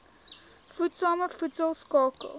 voedsame voedsel skakel